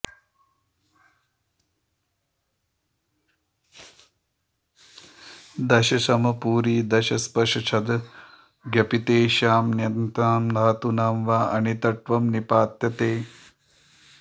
दम् शम् पूरी दस् स्पश् छद् ज्ञपित्येतेषां ण्यन्तानां धातूनां वा अनिट्त्वं निपात्यते